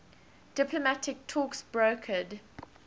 diplomatic talks brokered